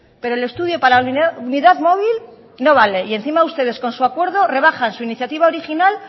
pero el estudio para la unidad móvil no vale y encima ustedes con su acuerdo rebajan su iniciativa original